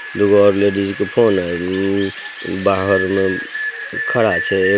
दुगो और लेडिस के फोन हेय बाहर में खड़ा छै।